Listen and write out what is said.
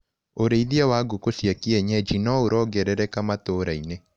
ũrĩithia wa ngũkũ cia kienyenji noũrongerereka matũrainĩ.